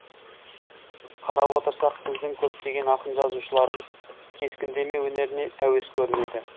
қарап отырсақ біздің көптеген ақын жазушыларымыз кескіндеме өнеріне әуес көрінеді